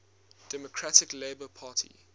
democratic labour party